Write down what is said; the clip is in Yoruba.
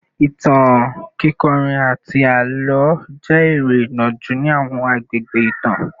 Ìtàn, kíkọrin, àti àlọ́ jẹ́ eré ìnàjú ní àwọn àgbègbè ìtàn